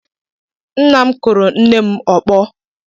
Nna m kụrụ nne m ọkpọ.